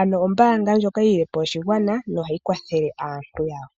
ano ombaanga ndjoka yi lilepo oshigwana noyi hayi kwathele aantu yawo.